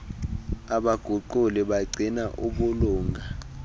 abaguquli bagcina ubulunga